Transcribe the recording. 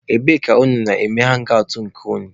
Ebee ka unu na-eme hangị awtụ nke unu?